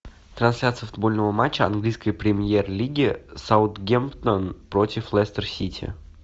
трансляция футбольного матча английской премьер лиги саутгемптон против лестер сити